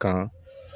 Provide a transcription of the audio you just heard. Kan